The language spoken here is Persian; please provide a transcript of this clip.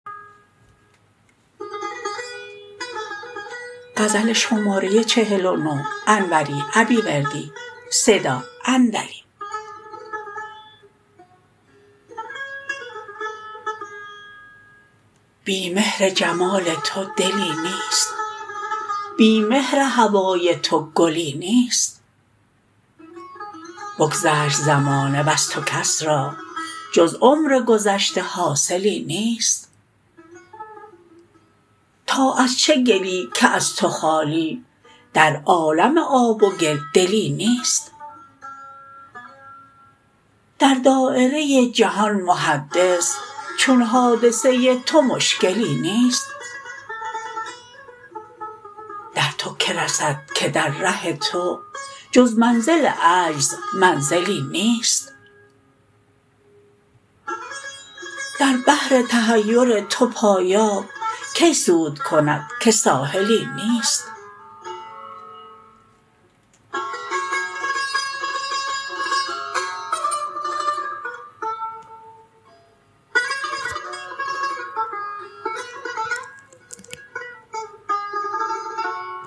بی مهر جمال تو دلی نیست بی مهر هوای تو گلی نیست بگذشت زمانه وز تو کس را جز عمر گذشته حاصلی نیست تا از چه گلی که از تو خالی در عالم آب و گل دلی نیست در دایره جهان محدث چون حادثه تو مشکلی نیست در تو که رسد که در ره تو جز منزل عجز منزلی نیست در بحر تحیر تو پایاب کی سود کند که ساحلی نیست